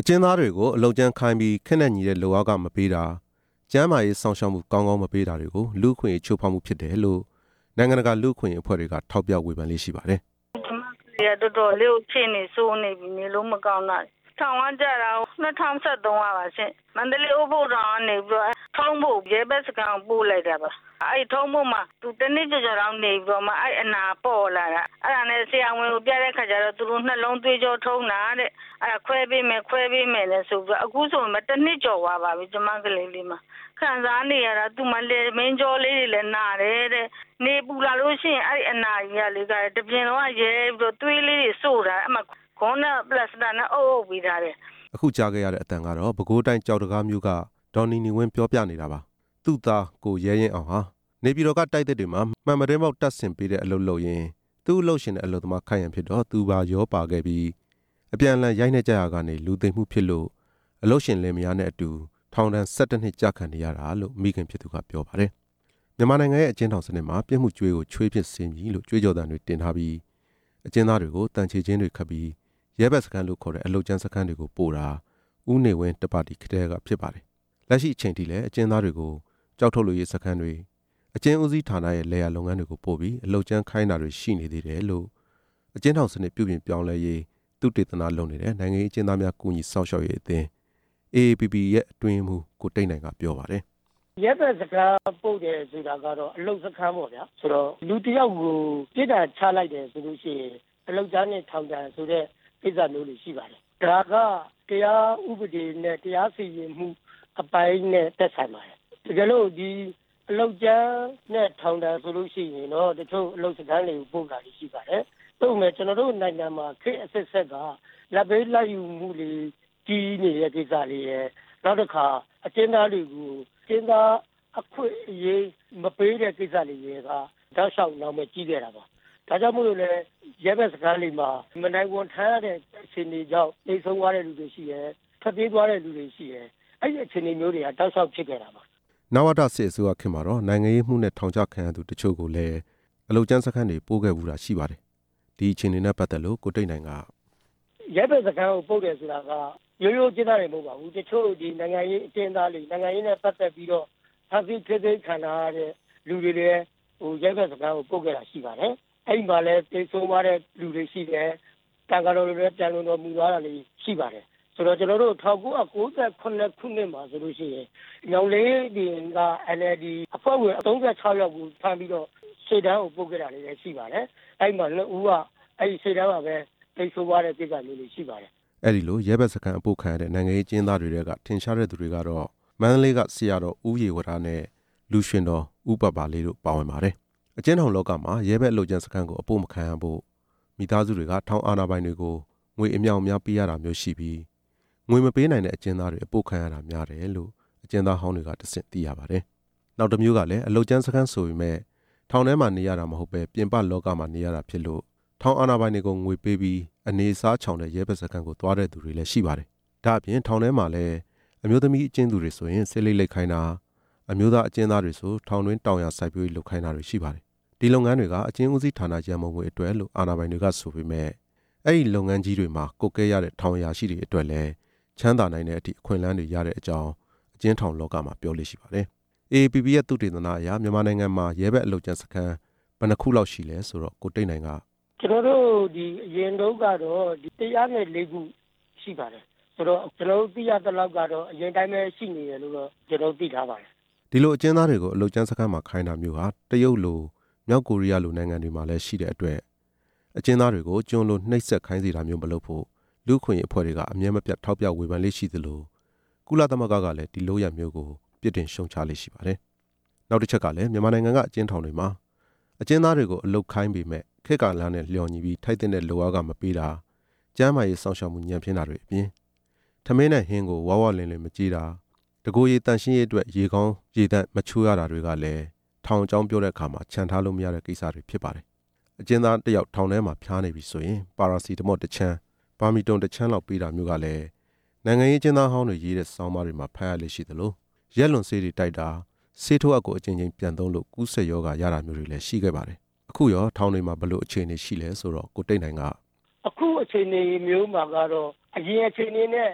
အကျဉ်းသားတွေကို အလုပ်ကြမ်းခိုင်းပြီး ခေတ်နဲ့ညီတဲ့လုပ်အားခမပေးတာ၊ ကျန်းမာရေး စောင့်ရှောက် မှု ကောင်းကောင်းမပေးတာတွေဟာ လူ့အခွင့်အရေး ချိုးဖေါက်မှုဖြစ်တယ်လို့ နိုင်ငံတကာ လူ့အခွင့် အရေးအဖွဲ့တွေက ထောက်ပြဝေဖန်လေ့ရှိပါတယ်။ "ကျမကလေးဟာ တော်တော်လေးကို အခြေအနေဆိုးနေပြီ နေလို့မကောင်းတာ၊ ထောင်ကျတာ ၂ဝ၁၃ ကပါရှင့်၊ မန္တလေးအိုးဘိုထောင်ကို ပို့လိုက်တယ်၊ အဲ့ဒီကနေ ထုံးဘိုရဲဘက်စခန်းကို ရောက်သွားပြီး တစ်နှစ်ကျော်တော့ အဲ့ဒီအနာကပေါ်လာတာ၊ ဆရာဝန်ကိုပြတော့ နှလုံးသွေးကြောထုံးတာတဲ့၊ အဲ့ဒါ ခွဲပေးမယ်ခွဲပေးမယ်နဲ့ အခုဆိုရင်တစ်နှစ်ကျော်သွားပါပြီ၊ ခံစားနေရတာ သူ့မှာလည်ပင်းကြောလေးတွေ လည်းနာတယ်၊ နေပူလာလို့ရှိရင် အဲ့ဒီအနာတပြင်လုံးကရဲပြီးတော့ သွေးတွေစို့လာတယ်၊ ဂွမ်းနဲ့ ပလာစတာနဲ့ အုပ်အုပ်ပေးထားတယ်" အခုကြားခဲ့ရတဲ့အသံကတော့ ပဲခူးတိုင်း ကျောက်တံခါးမြို့က ဒေါ်နီနီဝင်း ပြောပြနေတာပါ၊ သူ့သား ကိုရဲရင့်အောင်ဟာ နေပြည်တော်က တိုက်သစ်တွေမှာ မှန်ပြတင်းပေါက်တပ်ဆင်ပေးတဲ့ အလုပ်လုပ်ရင်း သူ့အလုပ်ရှင်နဲ့ အလုပ်သမား ခိုက်ရန်ဖြစ်တော့ သူပါရောပါခဲ့ပြီး အပြန်အလှန်ရိုက်နှက်ကြရာကနေ လူသေမှုဖြစ်လို့ အလုပ်ရှင်လင်မယားနဲ့အတူ ထောင်ဒဏ် ၁၁ နှစ် ကျခံနေရတာလို့ မိခင်ဖြစ်သူက ပြောပါတယ်။ မြန်မာနိုင်ငံရဲ့ အကျဉ်းထောင်စနစ်မှာ ပြစ်မှုကြွေးကိုချွေးဖြင့်ဆေးမည်လို့ ကြွေးကြော်သံတွေ တင်ထားပြီး၊ အကျဉ်းသားတွေကို သံခြေကျင်းတွေခတ်ပြီး ရဲဘက်စခန်းလို့ခေါ်တဲ့ အလုပ်ကြမ်းစခန်းတွေကိုပို့တာ ဦးနေဝင်း တစ်ပါတီခေတ်တည်းက ဖြစ်ပါတယ်။ လက်ရှိအချိန်ထိလည်း အကျဉ်းသားတွေကို ကျောက်ထုတ်လုပ်ရေး စခန်းတွေ၊ အကျဉ်းဦးစီးဌါနရဲ့ လယ်ယာလုပ်ငန်းတွေကိုပို့ပြီး အလုပ်ကြမ်းခိုင်းတာတွေ ရှိနေသေးတယ်လို့ အကျဉ်းထောင်စနစ် ပြုပြင်ပြောင်းလဲရေး သုတေသနလုပ်နေတဲ့ နိုင်ငံရေးအကျဉ်းသားများ ကူညီစောင့်ရှောက်ရေးအသင်း AAPP အတွင်းရေးမှူး ကိုတိတ်နိုင် က ပြောပါတယ်။ "ရဲဘက်စခန်းဆိုတာကတော့ အလုပ်စခန်းပေါ့ဗျာ၊ လူတစ်ယောက်ကို ပြစ်ဒဏ်ချပြီဆိုရင် အလုပ်ကြမ်း နဲ့ ထောင်ဒဏ်ဆိုပြီး ချလေ့ရှိပါတယ်၊ ဒါက ဥပဒေနဲ့ တရားစီရင်ရေး အပိုင်းနဲ့ သက်ဆိုင်ပါတယ်၊ တကယ်လို့ အလုပ်ကြမ်းနဲ့ ထောင်ဒဏ်ချခံရပြီဆိုရင်တော့ တချို့အလုပ်စခန်းတွေ ပို့တာရှိပါတယ်၊ သို့ပေမဲ့ ကျနော်တို့ နိုင်ငံမှာ ခေတ်အဆက်ဆက်က လာဘ်ပေးလာဘ်ယူမှုတွေ ကြီးနေတဲ့ကိစ္စတွေရယ်၊ အကျဉ်းသားတွေကို အခွင့်အရေးမပေးခဲ့တာတွေက တောက်လျှောက် နာမည်ကြီးခဲ့တာပါ၊ ဒါကြောင့်မို့လို့လည်း ရဲဘက်စခန်းတွေမှာ မနိုင်ဝန်ထမ်းရလို့ သေဆုံးသွားရသူတွေရှိတယ်၊ ထွက်ပြေးသွားတဲ့သူတွေရှိတယ်၊ အဲဒီအခြေအနေမျိုးတွေက တောက်လျှောက်ဖြစ်ခဲ့တာပါ" တဲ့။ နဝတစစ်အစိုးရခေတ်မှာတော့ နိုင်ငံရေးမှုနဲ့ ထောင်ချခံရသူတချို့ကိုပဲ အလုပ်ကြမ်းစခန်းတွေ ပို့ခဲ့ဖူးတာရှိပါတယ်။ ဒီအခြေအနေနဲ့ပတ်သက်လို့ ကိုတိတ်နိုင်က "ရဲဘက်စခန်းပို့တယ်ဆိုတာက ရိုးရိုးအကျဉ်းသားတွေတင် မဟုတ်ပါဘူး၊ တချို့ နိုင်ငံရေး အကျဉ်းသားတွေ ပါ အပို့ခံရပါတယ်၊ အဲ့ဒီထဲမှာလည်း သေဆုံးသွားတဲ့သူတွေရှိတယ်၊ သံဃာတော်တွေလည်း ပျံလွန်တော်မူ သွားရတာတွေ ရှိပါတယ်၊ ၁၉၉၇ ခုနှစ်မှာဆိုရင် ညောင်လေးပင် NLD အဖွဲ့ဝင် ၃၆ ယောက်ကို ဖမ်းပြီးတော့ ရှေ့တန်းပို့လိုက်တာဖြစ်ခဲ့ပါတယ်၊ အဲ့ဒီထဲက ၂ ယောက် ရှေ့တန်းမှာပဲ သေဆုံးခဲ့ပါတယ်" လို့ ပြောပြပါတယ်။ အဲ့ဒီလို ရဲဘက်စခန်းအပို့ခံရတဲ့ နိုင်ငံရေးအကျဉ်းသားတွေထဲက ထင်ရှားတဲ့သူတွေကတော့ မန္တလေးက ဆရာတော် ဦးရေဝတနဲ့ လူရွှင်တော် ဦးပါပါလေးတို့ ဖြစ်ပါတယ်။ အကျဉ်းထောင်လောကမှာ ရဲဘက်အလုပ်ကြမ်းစခန်းကို အပို့မခံရဖို့ မိသားစုတွေက ထောင်အာဏာပိုင်တွေ ကို ငွေအမြောက်အများပေးရတာမျိုးရှိပြီး၊ ငွေမပေးနိုင်တဲ့အကျဉ်းသားတွေ အပို့ခံရတာများတယ်လို့ အကျဉ်းသားဟောင်းတွေကတဆင့် သိရပါတယ်။ နောက်တစ်မျိုးကလည်း အလုပ်ကြမ်းစခန်းဆိုပေမယ့် ထောင်ထဲ မှာနေရတာမဟုတ်ပဲ ပြင်ပလောကမှာနေရတာဖြစ်လို့ ထောင်အာဏာပိုင်တွေကို ငွေပေးပြီး အနေအစားချောင်တဲ့ ရဲဘက်စခန်းကိုသွားတဲ့သူတွေလည်း ရှိပါတယ်။ ဒါ့အပြင် ထောင်ထဲမှာလဲ အမျိုးသမီး အကျဉ်းသူတွေဆိုရင် ဆေး လိပ်လိပ်ခိုင်းတာ၊ အမျိုးသားအကျဉ်းသားတွေဆို ထောင်တွင်း တောင်ယာစိုက်ပျိုးရေး လုပ်ခိုင်းတာတွေရှိပါတယ်။ ဒီလုပ်ငန်းတွေက အကျဉ်းဦးစီးဌာနရန်ပုံငွေအတွက်လို့ အာဏာပိုင်တွေကဆိုပေမယ့် အဲ့ဒီလုပ်ငန်းတွေမှာ ကွပ်ကဲရတဲ့ထောင်အရာရှိတွေအတွက်လည်း ချမ်းသာနိုင်တဲ့အထိ အခွင့်အလမ်းတွေရတဲ့အကြောင်း အကျဉ်းထောင်လောကမှာ ပြောလေ့ရှိပါတယ်။ AAPP ရဲ့ သုတေသနအရ မြန်မာနိုင်ငံမှာ ရဲဘက်အလုပ် ကြမ်းစခန်း ဘယ်နှစ်ခုလောက်ရှိလဲဆိုတော့ ကိုတိတ်နိုင်က " ကျနော်တို့ အရင်က သိထားသလောက်ဆိုရင်တော့ ၁ဝ၄ ခု ရှိပါတယ်" လို့ ပြောပါတယ်။ ဒီလိုအကျဉ်းသားတွေကို အလုပ်ကြမ်းစခန်းမှာ ခိုင်းတာမျိုးဟာ တရုတ်လို မြောက်ကိုရီးယားလို နိုင်ငံတွေမှာ လည်းရှိတဲ့အတွက် အကျဉ်းသားတွေက ိုကျွန်လိုနှိပ်စက်ခိုင်းစေတာမျိုးမလုပ်ဖို့ လူ့အခွင့်အရေးအဖွဲ့တွေက အမြဲမပြတ်ထောက်ပြဝေဖန်လေ့ရှိသလို ကုလသမဂ္ဂကလည်း ဒီလုပ်ရပ်မျိုးကို ပြစ်တင်ရှုံ့ချလေ့ရှိပါတယ်။ နောက်တစ်ချက်ကလည်း မြန်မာနိုင်ငံက အကျဉ်းထောင်တွေမှာ အကျဉ်းသားတွေကို အလုပ်ခိုင်းပေမယ့် ခေတ် ကာလနဲ့လျော်ညီပြီး ထိုက်သင့်တဲ့လုပ်အားခမပေးတာ၊ ကျန်းမာရေးစောင့်ရှောက်မှု ညံ့ဖျင်းတာတွေအပြင်၊ ထမင်းနဲ့ဟင်းကို ဝဝလင်လင်မကျွေးတာ၊ တကိုယ်ရည်သန့်ရှင်းရေးအတွက် ရေကောင်းကောင်းမချိုးရတာတွေ ကလည်း ထောင်အကြောင်းပြောတဲ့အခါမှာ ချန်ထားလို့မရတဲ့ကိစ္စတွေဖြစ်နေပါတယ်။ အကျဉ်းသား တစ်ယောက် ထောင်ထဲမှာဖျားနာနေရင် ပါရာစီတမော့တခြမ်း၊ ဘာမီတွန်တခြမ်း လောက်ပေးတာမျိုးကလည်း နိုင်ငံရေးအကျဉ်းသားဟောင်းတွေရေးတဲ့ ဆောင်းပါးတွေမှာ ဖတ်ရလေ့ ရှိသလို၊ ရက်လွန်ဆေးတွေ တိုက်တာ၊ ဆေးထိုးအပ်ကို အကြိမ်ကြိမ်ပြန်သုံးလို့ ကူးစက်ရောဂါ ရတာမျိုးတွေလည်း ရှိခဲ့ပါတယ်။ အခုရောထောင်တွေမှာ ဘယ်လိုအခြေအနေရှိလဲဆိုတော့ ကိုတိတ်နိုင်က "အခုအခြေအနေမျိုးမှာ တော့ အရင်အခြေအနေနဲ့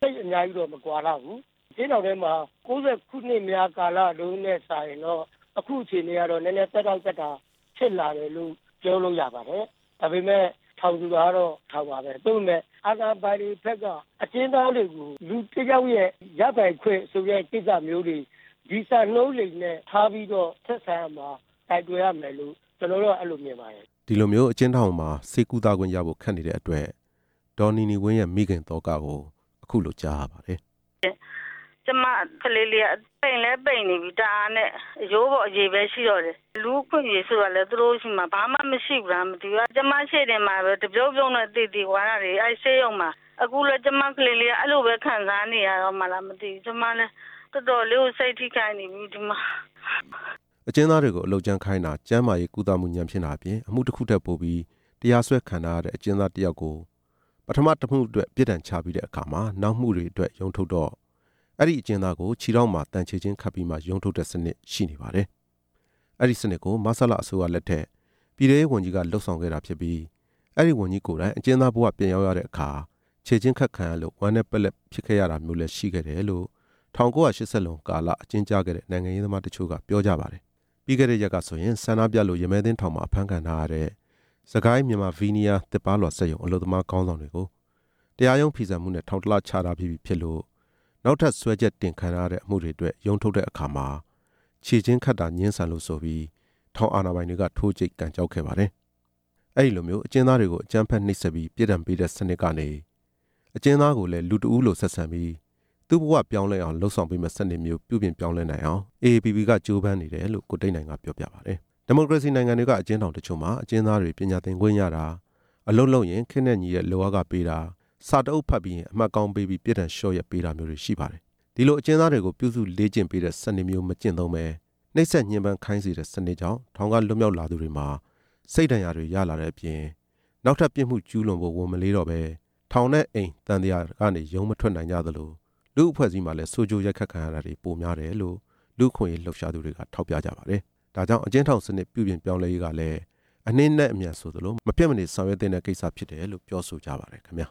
သိပ်မကွာလှဘူး၊ ၁၉၉ဝ ခုနှစ် ကာလတွေကထက်စာရင်တော့ အခုက နည်းနည်း သက်သောင့်သက်သာ ဖြစ်လာတယ်လို့ ပြောလို့ရပါတယ်၊ ဒါပေမယ့် ထောင်ဆိုတာကတော့ ထောင်ပါပဲ၊ သို့ပေမဲ့ အာဏာပိုင်တွေဘက် အကျဉ်းသားတွေကို လူတစ်ယောက်ရဲ့ရပိုင်ခွင့်ဆိုတဲ့ ကိစ္စမျိုးတွေ၊ ဒီစံနှုန်းတွေနဲ့ ဆက်ဆံကိုင်တွယ်ရမယ်လို့ ကျနေ်ာကမြင်ပါတယ်" လို့ ဆိုပါတယ်။ အကျဉ်းထောင်မှာ ဆေးကုသခွင့်ရဖို့ ခက်နေတဲ့အတွက် "ကျမကလေးလေးဟာ ပိန်လဲပိန်နေပြီ၊ အရိုးပေါ်အရေပဲ ရှိတော့တယ်၊ လူ့အခွင့်အရေးဆိုတာလည်း သူတို့ဆီမှာဘာမှမရှိဘူးလား မသိဘူး၊ ကျမရှေ့တင်မှာပဲ တဖြုတ်ဖြုတ်နဲ့ သေသွားတာတွေ အဲ့ဒီဆေးရုံမှာ၊ အခုလည်း ကျမကလေးလေးက အဲ့လိုပဲခံစားနေရတော့မှာလား မသိဘူး၊ ကျမတော်တော်လေးကို စိတ်ထိခိုက်နေပါပြီ" ဒေါ်နီနီဝင်းရဲ့ မိခင်သောကကို ကြားရပါတယ်။ အကျဉ်းသားတွေကို အလုပ်ကြမ်းခိုင်းတာ၊ ကျန်းမာရေးကုသမှု ညံ့ဖျင်းတာအပြင် အမှုတစ်ခုထက်ပိုပြီး တရားစွဲခံထားရတဲ့ အကျဉ်းသားတစ်ယောက်ကို ပထမတစ်မှုအတွက် ပြစ်ဒဏ်ချပြီးတဲ့အခါ၊ နောက်မှုတွေအတွက် တရားရုံးထုတ်တော့ အဲ့ဒီအကျဉ်းသားကို ခြေထောက်မှာသံခြေကျင်းခတ်ပြီးမှ ရုံးထုတ်တဲ့စနစ် ရှိနေပါတယ်၊ အဲ့ဒီစနစ်ကို မဆလအစိုးရလက်ထက် ပြည်ထဲရေးဝန်ကြီးက လုပ်ဆောင်ခဲ့တာဖြစ်ပြီး၊ အဲ့ဒီဝန်ကြီးကိုယ်တိုင် အကျဉ်းသားဘဝ ပြန်ရောက်ရတဲ့အခါ ခြေကျင်းခတ်ခံရလို့ ဝမ်းနည်းပက်လက် ဖြစ်ခဲ့ရတာမျိုးလည်းရှိခဲ့တယ်လို့ ၁၉၈ဝ လွန်ကာလက အကျဉ်းကျခဲ့တဲ့ နိုင်ငံရေးသမားတချို့က ပြန်ပြောကြပါတယ်။ ပြီးခဲ့တဲ့ရက်ကဆိုရင် ဆန္ဒပြလို့ ရမည်းသင်းထောင်မှာ အဖမ်းခံထားရတဲ့ စစ်ကိုင်း မြန်မာဗီးနီးယား သစ်ပါးလွှာ စက်ရုံ အလုပ်သမားတွေခေါင်းဆောင်တွေကို တရားရုံးဖီဆန်မှုနဲ့ ထောင်တစ်လ ချထားပြီးပြီဖြစ်လို့ နောက်ထပ် စွဲချက်တင်ခံထားရတဲ့ အမှုတွေအတွက် တရားရုံးထုတ်တဲ့အခါ ခြေကျင်းခတ်တာငြင်းဆန်လို့ဆိုပြီး ထောင် အာဏာပိုင်တွေက ထိုးကြိတ်ကန်ကျောက်ခဲ့ပါတယ်။ ဒီလိုမျိုးအကျဉ်းသားတွေကို အကြမ်းဖက်နှိပ်စက်ပြီး ပြစ်ဒဏ်ပေးတဲ့စနစ်ကနေ အကျဉ်းသားကိုလည်း လူတစ်ဦး လိုဆက်ဆံပြီး သူ့ဘဝပြောင်းလဲအောင် လုပ်ဆောင်ပေးမယ့်စနစ်မျိုး ပြုပြင်ပြောင်းလဲနိုင်အောင် AAPP ကကြိုးပမ်းနေတယ်လို့ ကိုတိတ်နိုင်က ပြောပါတယ်။ ဒီမိုကရေစီနိုင်ငံတွေက အကျဉ်းထောင်တချို့မှာ အကျဉ်းသားတွေ ပညာသင်ခွင့်ရတာ၊ အလုပ်လုပ်ရင် ခေတ်နဲ့ ညီတဲ့ လုပ်အားခပေးတာ၊ စာတစ်အုပ်ဖတ်ပြီးရင် အမှတ်ကောင်းပေးပြီး ပြစ်ဒဏ်လျှော့ရက်ပေး တာမျိုးတွေ ရှိပါတယ်။ အဲ့ဒီလိုအကျဉ်းသားတွေကို ပြုစုလေ့ကျင့်ပေးတဲ့စနစ်မျိုး မကျင့်သုံးပဲ၊ နှိပ်စက်ညှင်းပမ်းခိုင်းစေတဲ့ စနစ်ကြောင့် ထောင်ကလွတ်မြောက်လာသူတွေမှာ စိတ်ဒဏ်ရာတွေရလာတဲ့အပြင် နောက်ထပ်ပြစ်မှု ကျူးလွန်ဖို့ ဝန်မလေးတော့ပဲ ထောင်နဲ့အိမ်သံသရာထဲကနေ ရုန်းမထွက်နိုင်ကြသလို လူ့အဖွဲ့အစည်းမှာလည်း ဆိုးကျိုး ရိုက်ခတ်ခံရမှု ပိုများတာတွေ့ရတယ်လို့ လူ့အခွင့်အရေး လှုပ်ရှားသူတွေက ထောက်ပြကြပါတယ်။ ဒါကြောင့် အကျဉ်းထောင်စနစ် ပြုပြင်ပြောင်းလဲရေးကလည်း အနှေးနဲ့အမြန်ဆိုသလို မဖြစ်မနေဆောင်ရွက်သင့်တဲ့ ကိစ္စဖြစ်တယ်လို့ ပြောဆိုကြပါတယ်ခင်ဗျာ။